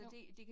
Jo